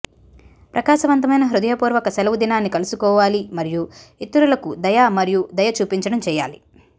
ప్రకాశవంతమైన హృదయపూర్వక సెలవుదినాన్ని కలుసుకోవాలి మరియు ఇతరులకు దయ మరియు దయ చూపించడం చేయాలి